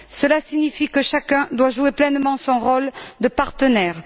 Cela signifie que chacun doit jouer pleinement son rôle de partenaire.